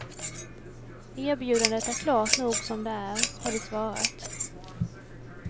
Erbjudandet är klart nog som det är, har de svarat.